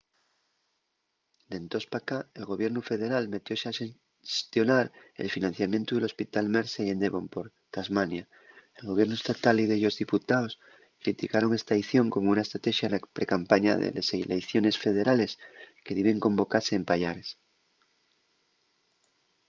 d’entós p’acá el gobiernu federal metióse a xestionar el financiamientu del hospital mersey en devonport tasmania; el gobiernu estatal y dellos diputaos criticaron esta aición como una estratexa na precampaña de les eleiciones federales que diben convocase en payares